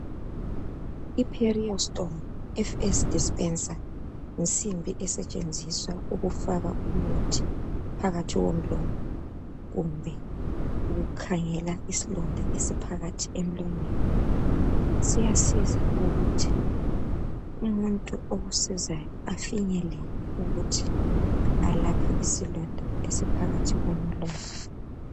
Iperia storm FF dispenser yinsimbi esetshenziswa ukufaka umuthi phakathi komlomo kumbe ukukhangela isilonda esiphakathi emlonyeni. Siyasiza ukuthi umuntu okusizayo afinyelele ukuthi alaphe isilonda esiphakathi komlomo.